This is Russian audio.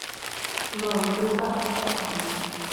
бронь группа стм